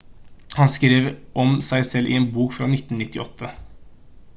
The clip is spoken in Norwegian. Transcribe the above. han skrev om seg selv i en bok fra 1998